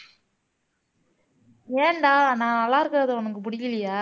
ஏன்டா நான் நல்லா இருக்கிறது உனக்கு பிடிக்கலையா